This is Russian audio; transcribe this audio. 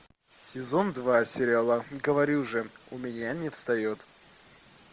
сезон два сериала говорю же у меня не встает